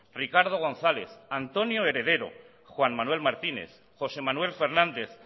ricardo gonzález antonio heredero juan manuel martínez josé manuel fernández